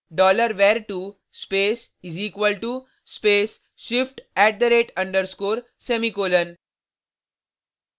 $var2 space = space shift @_ semicolon